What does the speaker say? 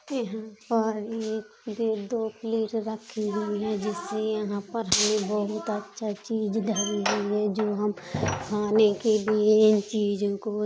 यहाँ पर एक डेढ़ दो प्लेट रखी हुई है। जिससे यहां पर हमें बहुत अच्छा चीज धरी हुई है जो हम खाने के लिए इन चीजों को --